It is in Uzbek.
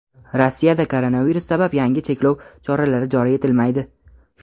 Rossiyada koronavirus sabab yangi cheklov choralari joriy etilmaydi.